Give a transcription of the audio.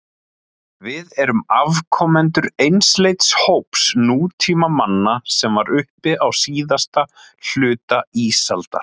Við erum afkomendur einsleits hóps nútímamanna sem var uppi á síðasta hluta ísaldar.